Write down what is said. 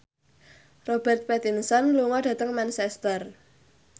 Robert Pattinson lunga dhateng Manchester